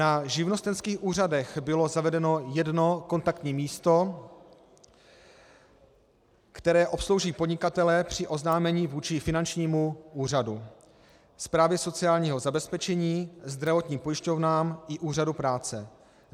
Na živnostenských úřadech bylo zavedeno jedno kontaktní místo, které obslouží podnikatele při oznámení vůči finančnímu úřadu, správě sociálního zabezpečení, zdravotním pojišťovnám i úřadu práce.